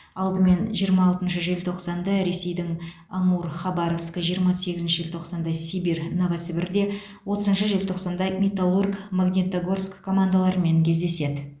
алдымен жиырма алтыншы желтоқсанда ресейдің амур хабаровск жиырма сегізінші желтоқсанда сибирь новосібірде отызыншы желтоқсанда металлург магнитогорск командаларымен кездеседі